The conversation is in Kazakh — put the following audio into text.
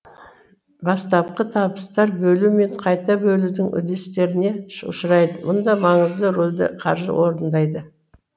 бастапқы табыстар бөлу мен қайта бөлудің үдерістеріне ұшырайды мұнда маңызды рөлді қаржы орындайды